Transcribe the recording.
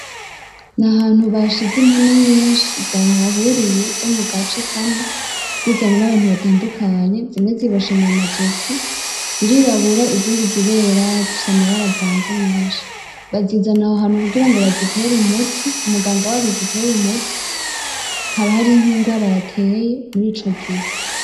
N’ahantu bashize impene nyinshi zahaburiye zo mu gace kamwe zizanywe n'abantu batandukanye, zimwe ziboshe mu mazosi, zirirabura izindi zirera, zifise amabara avanze menshi. Bazizana aho hantu kugira ngo bazitere umuti, umuganga wazo azitere umuti haba hariho ingwara yateye muri ico gihe.